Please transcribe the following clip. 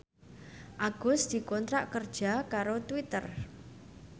Agus dikontrak kerja karo Twitter